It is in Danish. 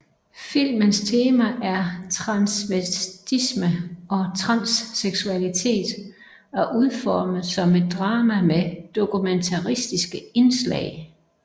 Filmens tema er transvestisme og transseksualitet og udformet som et drama med dokumentariske indslag